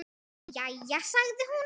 Jæja sagði hún.